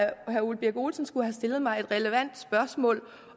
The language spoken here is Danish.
herre ole birk olesen skulle have stillet mig et relevant spørgsmål